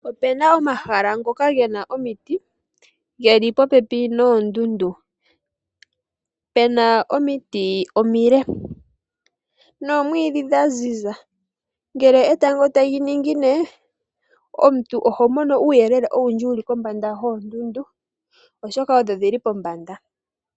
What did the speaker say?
Opena omahala ngoka gena omiti geli popepi noondundu. Pena omiti omile nomwiidhi dhaziza. Ngele etango tali ningine omuntu oho mono uuyelele wuli kombanda yoondundu, oshoka odho dhili pombanda.